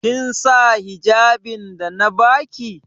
Kin sa hijjabin da na ba ki?